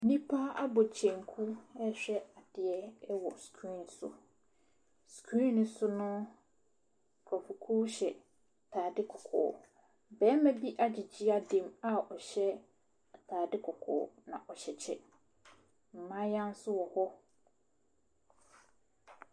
Nnipa abɔ kyenku rehwɛ adeɛ wɔ screen so. Screen no so no, nkurɔfokuo hyɛ atadeɛ kɔkɔɔ. Barima bi agyegye ada mu a ɔhyɛ atadeɛ kɔkɔɔ, na ɔhyɛ kyɛ. Mmaayewa nso wɔ hɔ.